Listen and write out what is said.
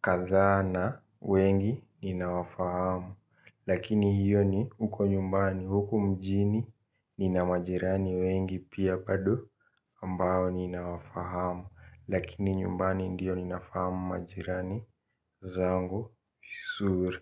kadhana wengi nina wafahamu. Lakini hiyo ni huko nyumbani huku mjini. Ninamajirani wengi pia pado ambayo nina wafahamu. Lakini nyumbani ndiyo ninafahamu majirani zangu suri.